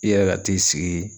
I yɛrɛ ka t'i sigi